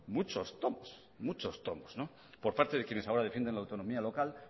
muchos tomos muchos tomos por parte de quienes ahora defienden la autonomía local